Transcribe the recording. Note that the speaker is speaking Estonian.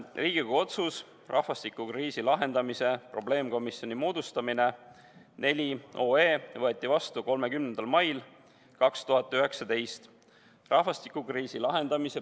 Riigikogu otsus "Rahvastikukriisi lahendamise probleemkomisjoni moodustamine" võeti vastu 30. mail 2019.